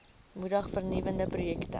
moedig vernuwende projekte